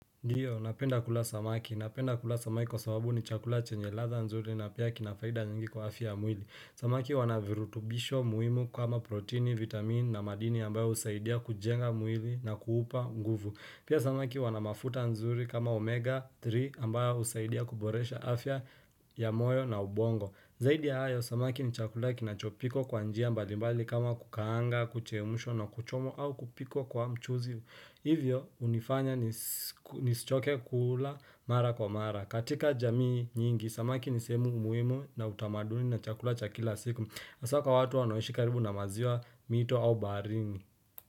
Ndiyo, napenda kula samaki. Napenda kula samaki kwa sababu ni chakula chenye ladha nzuri na pia kina faida nyingi kwa afya ya mwili. Samaki wana virutubisho muhimu kama proteini, vitamini na madini ambayo husaidia kujenga mwili na kuupa nguvu. Pia samaki wana mafuta nzuri kama omega 3 ambayo husaidia kuboresha afya ya moyo na ubongo. Zaidi ya hayo, samaki ni chakula kinachopikwa kwa njia mbali mbali kama kukaanga, kuchemshwa na kuchomwa au kupikwa kwa mchuzi. Hivyo hunifanya nisichoke kula mara kwa mara. Katika jamii nyingi, Samaki ni sehemu muhimu na utamaduni na chakula cha kila siku hasa kwa watu wanoishi karibu na maziwa mito au barini.